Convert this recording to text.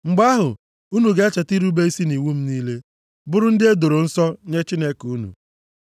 Mgbe ahụ unu ga-echeta irube isi nʼiwu m niile, bụrụ ndị e doro nsọ nye Chineke unu.